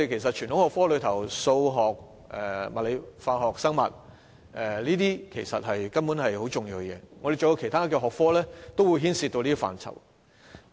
在傳統學科中，數學、物理、化學和生物根本是很重要的，其他學科也會牽涉到這些範疇。